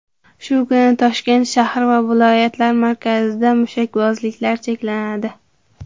Shu kuni Toshkent shahri va viloyatlar markazida mushakbozliklar cheklanadi.